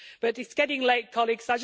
It's getting late, colleagues.